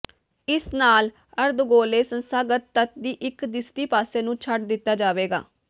ਇਸ ਨਾਲ ਅਰਧਗੋਲੇ ਸੰਸਥਾਗਤ ਤੱਤ ਦੀ ਇੱਕ ਦਿਸਦੀ ਪਾਸੇ ਨੂੰ ਛੱਡ ਦਿੱਤਾ ਜਾਵੇਗਾ